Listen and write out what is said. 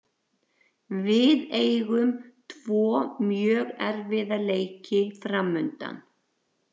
Við eigum tvo mjög erfiða leiki framundan.